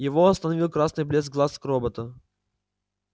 его остановил красный блеск глаз робота